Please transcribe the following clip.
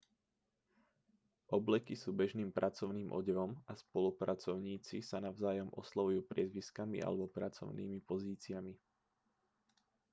obleky sú bežným pracovným odevom a spolupracovníci sa navzájom oslovujú priezviskami alebo pracovnými pozíciami